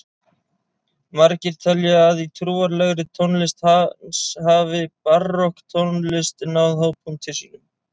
Margir telja að í trúarlegri tónlist hans hafi barokktónlist náð hápunkti sínum.